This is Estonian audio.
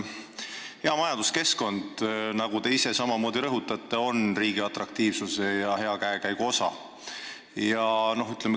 Hea majanduskeskkond, nagu te ise rõhutate, on riigi atraktiivsuse ja hea käekäigu osa.